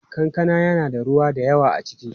Kankana yana da ruwa da yawa a ciki.